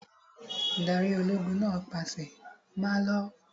Adarí ológun náà pàṣẹ, 'Máa lọ!